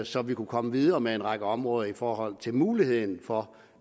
så vi kunne komme videre med en række områder i forhold til muligheden for